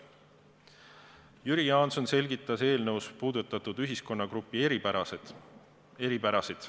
Jüri Jaanson selgitas eelnõus puudutatud ühiskonnagrupi eripärasid.